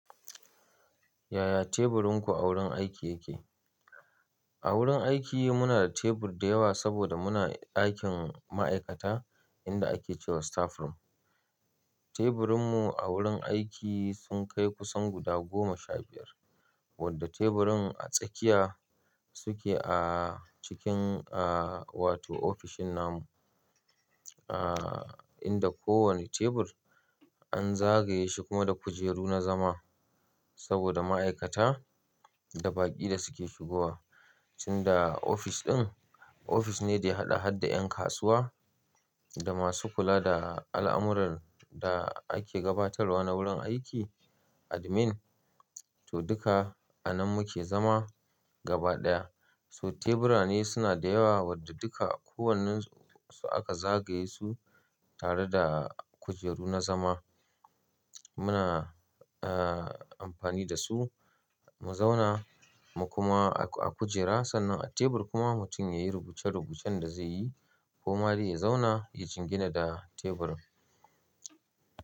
Yaya teburinku a wurin aiki yake? A wurin aiki muna da tebur da yawa saboda muna ɗakin ma'aikata inda ake cewa staff room. Teburinmu a wurin aiki sun kai kusan guda goma sha biyar wanda teburin a tsakiya suke ah cikin ah wato ofishin namu. Ah inda kowane tebur an zagaye shi kuma da kujeru na zama saboda ma'aikata da baƙi da suke shigowa. Sanda ofis ɗin, ofis ne da ya haɗa-haɗda ƴan kasuwa da masu kula da al'amuran da ake gabatarwa na wurin aiki, admin, to duka a nan muke zama gaba ɗaya. So tebura ne suna da yawa wanda duka kowannensu aka zagaye su tare da kujeru na zama. Muna ah amfani da su, mu zauna mu kuma ah kujera sannan a tebur kuma mutum yayi rubuce-rubucen da zai yi ko ma dai ya zauna ya jingina da tebur.